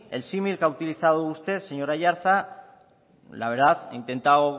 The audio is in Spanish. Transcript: el símil que ha utilizado usted señor aiartza la verdad he intentado